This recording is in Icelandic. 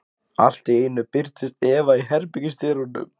Allt í einu birtist Eva í herbergisdyrunum.